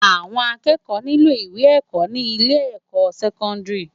Awòn àkëkò niló iwé èkò ni ilé èkò sèkòndári